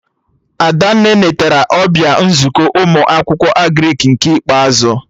Adanne netara ọbịa nzukọ ụmụ akwụkwọ Agrịk nke ikpeazụ